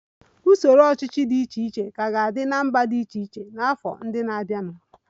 Usoro ọchịchị dị iche iche ka ga-adị na mba dị iche iche n'afọ ndị na-abịanụ